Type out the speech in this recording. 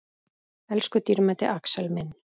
Elsku dýrmæti Axel minn.